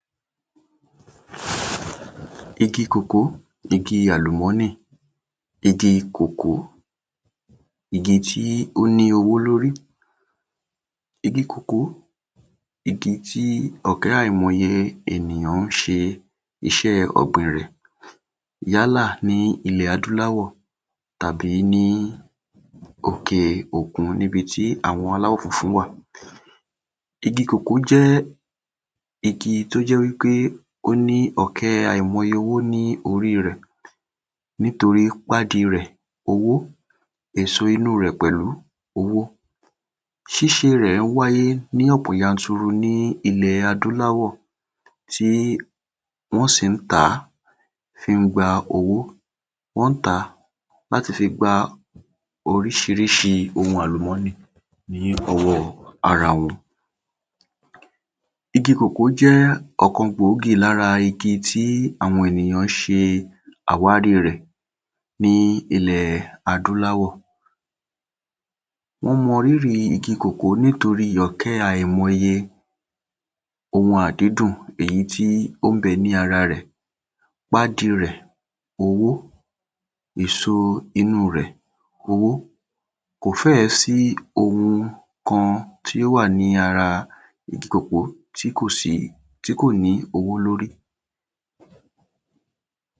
Igi kòkó, igi àlùmó̩nì. Igi kòkò, igi tí ó ní owó lórí. Igi kòkó, igi tí ò̩ké̩ àìmo̩ye ènìyà̃ ń s̩e is̩é̩ ò̩gbìn rè̩. Yálà ní ilè̩ adúláwò̩ tàbí ní òkè òkun níbi tí àwo̩n aláwò̩ funfun wà. Igi kòkó jé̩ igi tó jé̩ wípé ó ní ò̩ké̩ àìmo̩ye owó ní orí rè̩. Nítorí pádi rè̩, owó, èso inú rè̩ pè̩lú, owó. Sís̩e rè̩ wáyé ní ò̩pò̩ yanturu ní ilè̩ adúláwò̩. Sé wó̩n sì ń tà á fí ń gba owó. Wó̩n ń tà á láti fi gba orís̩irísi ohun àlùmó̩nì ní o̩wó̩ ara wo̩n. Igi kòkó jé̩ ò̩kan gbòógì lára igi tí àwo̩n ènìyàn s̩e àwárí rè̩ ní ile̩ adúláwò̩. Wó̩n mo̩ rírì igi kòkó nítóɹí ò̩ké̩ àìmo̩ye ohun àdídùn èyí tí ó ń be̩ ní ara rè̩. Pádi rè̩ owó, èso inú rè̩ owó. Kò fé̩è̩ sí ohun kan tí ó wà ní ara igi kòkó tí kò sí tí kò ní owó lórí.